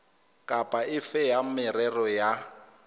kapa efe ya merero ya